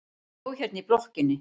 Hún bjó hérna í blokkinni.